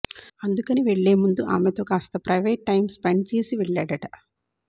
అందుకని వెళ్లే ముందు ఆమెతో కాస్త ప్రైవేట్ టైమ్ స్పెండ్ చేసి వెళ్లాడట